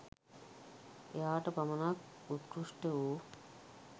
එයාට පමණක් උත්කෘෂ්ට වූ